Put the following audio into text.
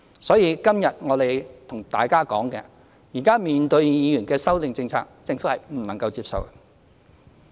所以，今天我們向大家說，現在面對議員的修正案，政府是不能接受的。